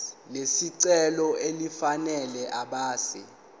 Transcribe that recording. lesicelo elifanele ebese